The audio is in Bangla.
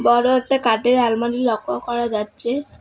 বড় একটা কাটের আলমারি লক্য করা যাচ্চে।